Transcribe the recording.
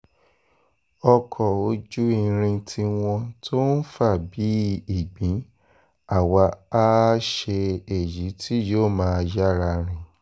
ọkọ̀ ojú irin tiwọn tó ń fà bíi ìgbín àwa àá ṣe èyí tí yóò máa yára rìn